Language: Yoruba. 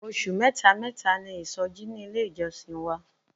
Oṣù mẹ́ta mẹ́ta ni isoji ní ilé ìjọsìn wa.